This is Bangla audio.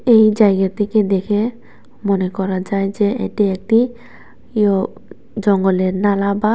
এই জায়গাটিকে দেখে মনে করা যায় যে এটি একটি ইয়ো জঙ্গলের নালা বা --